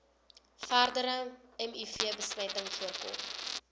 verdere mivbesmetting voorkom